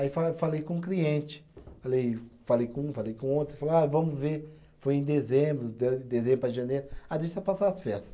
Aí fale falei com cliente, falei, falei com um, falei com outro, falou, ah vamos ver, foi em dezembro, de dezembro para janeiro, ah deixa passar as festas.